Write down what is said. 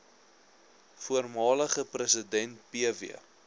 voormalige president pw